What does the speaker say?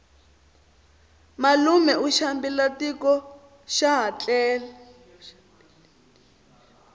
malume u xambile tiko xaha tlele